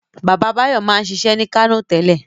Baba Báyọ̀ máa ń ṣiṣẹ́ ní Kánò tẹ́lẹ̀.